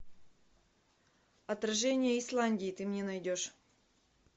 отражение исландии ты мне найдешь